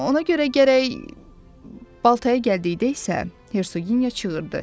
Ona görə gərək baltaya gəldikdə isə Hersogenya çığırdı.